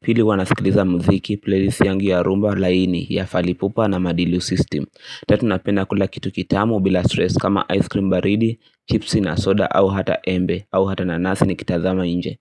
Pili huwa nasikiliza muziki, playlist yangi ya rumba, laini, ya falipupa na madilu system Tatu napenda kula kitu kitamu bila stress kama ice cream baridi, chipsi na soda au hata embe au hata nanasi nikitazama nje.